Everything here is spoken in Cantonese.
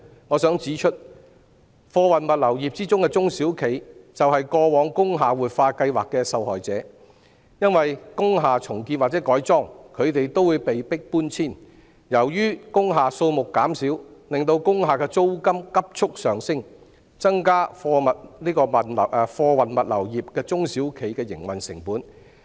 我想指出，貨運物流業的中小型企業就是過往工廈活化計劃的受害者，因為當工廈重建或改裝時，它們都會被迫搬遷；亦由於工廈數目減少，令工廈的租金急速上升，增加了貨運物流業中小企的營運成本。